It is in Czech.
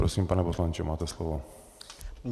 Prosím, pane poslanče, máte slovo.